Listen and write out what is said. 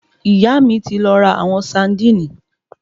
Ìyá mí ti lọ ra àwọn saandíìnì